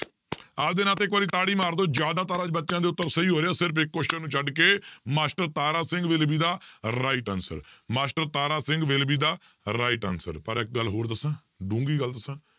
ਆਪਦੇ ਨਾਂ ਤੇ ਇੱਕ ਵਾਰੀ ਤਾੜੀ ਮਾਰ ਦਓ ਜ਼ਿਆਦਾਤਰ ਅੱਜ ਬੱਚਿਆਂ ਦੇ ਉੱਤਰ ਸਹੀ ਹੋ ਰਹੇ ਆ ਸਿਰਫ਼ ਇੱਕ question ਨੂੰ ਛੱਡ ਕੇ master Tara Singh will be the right answer master Tara Singh will be the right answer ਪਰ ਇੱਕ ਗੱਲ ਹੋਰ ਦੱਸਾਂਂ ਡੂੰਘੀ ਗੱਲ ਦੱਸਾਂ